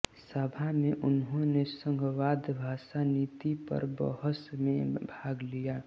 सभा में उन्होंने संघवाद भाषा नीति पर बहस में भाग लिया